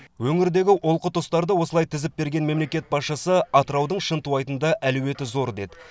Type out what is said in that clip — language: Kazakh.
өңірдегі олқы тұстарды осылай тізіп берген мемлекет басшысы атыраудың шынтуайтында әлеуеті зор деді